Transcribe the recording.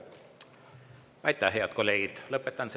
Aitäh, head kolleegid!